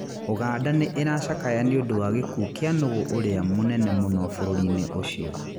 Uganda nĩ ĩracakayaga nĩ ũndũ wa gĩkuũ kĩa nũgũ ũrĩa mũnene mũno bũrũri-inĩ ũcio